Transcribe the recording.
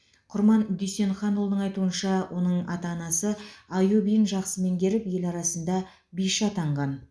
құрман дүйсенханұлының айтуынша оның ата анасы аю биін жақсы меңгеріп ел арасында биші атанған